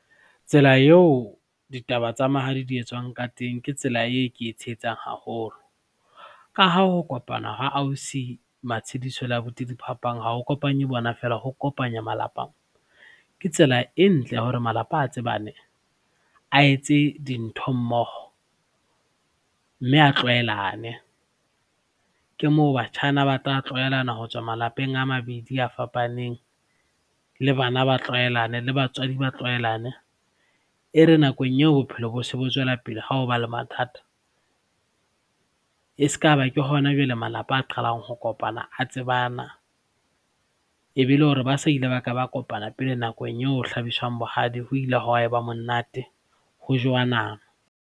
Tsela eo ditaba tsa mahadi di etswang ka teng ke tsela eo ke e tshehetsang haholo ka ha ho kopana ho ausi Matshidiso le abuti Diphapang ha ho kopanye bona feela, ho kopanya malapa. Ke tsela e ntle ya hore malapa a tsebane a etse dintho mmoho, mme a tlwaelane. Ke moo batjha bana ba tla tlwaelane ho tswa malapeng a mabedi a fapaneng le bana ba tlwaelane, le batswadi ba tlwaelane. E re nakong eo bophelo bo se bo tswellapele ha ho ba le mathata e skaba ke hona jwale malapa a qalang ho kopana a tsebana ebe le hore ba se ile ba ka ba kopana pele nakong eo ho hlabiswang bohadi, ho ile ha ba monate, ho jowa nama.